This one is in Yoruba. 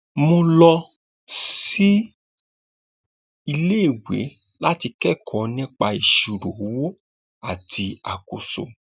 mo lọ síléèwé láti kẹkọọ nípa ìṣírò owó àti àkóso